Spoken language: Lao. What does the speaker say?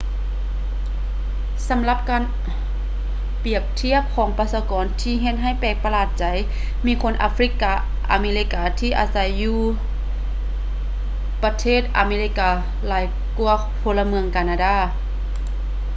ສຳລັບການປຽບທຽບຂອງປະຊາກອນທີ່ເຮັດໃຫ້ແປກປະຫລາດໃຈຫຼາຍ ມີຄົນອາຟຣິກາອາເມລິກາທີ່ອາໄສຢູ່ມນປະເທດອາເມລິກາຫຼາຍກ່ວາພົນລະເມືອງການາດາ